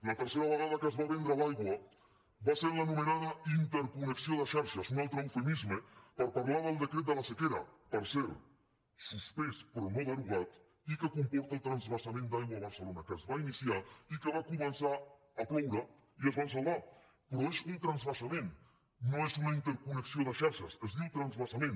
la tercera vegada que es va vendre l’aigua va ser en l’anomenada interconnexió de xarxes un altre eufemisme per parlar del decret de la sequera per cert suspès però no derogat i que comporta el transvasament d’aigua a barcelona que es va iniciar i que va començar a ploure i es van salvar però és un transvasament no és una interconnexió de xarxes es diu transvasament